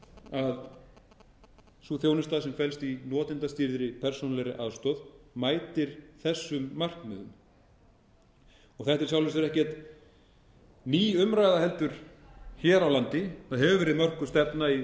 að sú þjónusta sem felst í notendastýrðri persónuleg aðstoð mætir þessum markmiðum þetta er í sjálfu sér ekki ný umræða hér á landi það hefur verið mörkuð stefna í